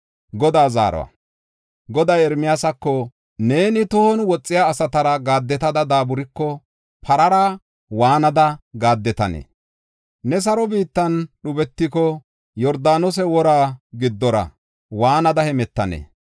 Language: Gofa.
Goday Ermiyaasako, “Neeni tohon woxiya asatara gaaddetada daaburiko, parara waanada gaaddetanee? Ne saro biittan dhubetiko, Yordaanose wora giddora waanada hemetanee?